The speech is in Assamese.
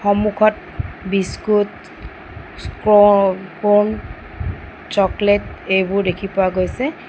সম্মুখত বিস্কুট স্ক্ৰ-বল চকলেট এইবোৰ দেখি পোৱা গৈছে।